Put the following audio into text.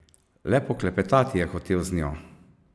Le poklepetati je hotel z njo.